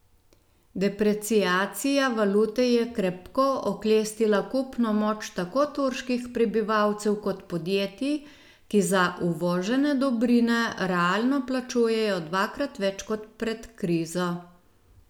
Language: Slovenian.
Depreciacija valute je krepko oklestila kupno moč tako turških prebivalcev kot podjetij, ki za uvožene dobrine realno plačujejo dvakrat več kot pred krizo.